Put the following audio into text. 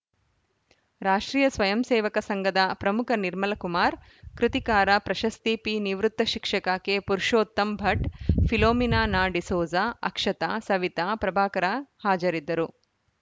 ರಾಷ್ಟ್ರೀಯ ಸ್ವಯಂಸೇವಕ ಸಂಘದ ಪ್ರಮುಖ ನಿರ್ಮಲ ಕುಮಾರ್‌ ಕೃತಿಕಾರ ಪ್ರಶಸ್ತಿ ಪಿ ನಿವೃತ್ತ ಶಿಕ್ಷಕ ಕೆಪುರುಷೋತ್ತಮ್‌ ಭಟ್‌ ಫಿಲೋಮಿನಾ ನಾಡಿಸೋಜ ಅಕ್ಷತಾ ಸವಿತಾ ಪ್ರಭಾಕರ ಹಾಜರಿದ್ದರು